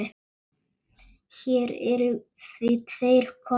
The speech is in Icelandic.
Hér eru því tveir kostir